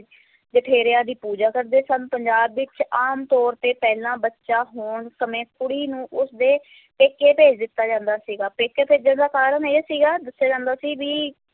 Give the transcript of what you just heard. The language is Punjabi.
ਜਠੇਰਿਆਂ ਦੀ ਪੂਜਾ ਕਰਦੇ ਸਨ, ਪੰਜਾਬ ਵਿੱਚ ਆਮ ਤੌਰ ਤੇ ਪਹਿਲਾ ਬੱਚਾ ਹੋਣ ਸਮੇਂ ਕੁੜੀ ਨੂੰ ਉਸ ਦੇ ਪੇਕੇ ਭੇਜ ਦਿੱਤਾ ਜਾਂਦਾ ਸੀਗਾ, ਪੇਕੇ ਭੇਜਣ ਦਾ ਕਾਰਨ ਇਹ ਸੀਗਾ, ਦੱਸਿਆ ਜਾਂਦਾ ਸੀ ਵੀ